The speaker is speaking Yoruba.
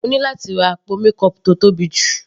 Mo ní láti ra àpò mékọọpù tó tóbi jù.